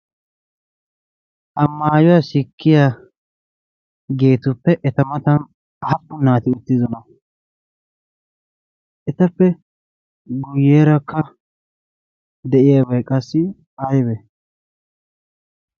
Ha maayuwa sikkiyaageetuppe eta matan aappun naati uttidonaa? Etappe guyyeerakka de"iyaabay qassi ayibe?